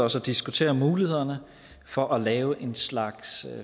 os at diskutere mulighederne for at lave en slags